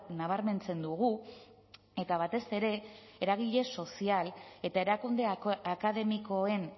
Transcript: nabarmentzen dugu eta batez ere eragile sozial eta erakunde akademikoen